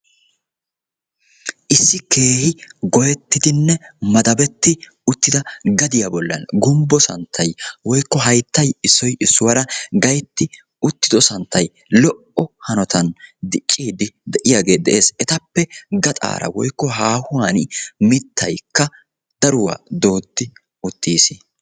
issi keehi goyettidinne madabetti uttida gadiyaa bollan gumbbo santtai woikko haittai issoi issuwaara gaitti uttido santtai lo77o hanotan diqqiidi de7iyaagee de7ees. etappe gaxaara woikko haahuwan mittaikka daruwaa dooddi uttiis.